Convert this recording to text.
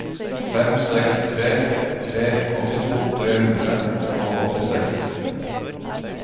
fem seks tre tre åttito tre hundre og åttiseks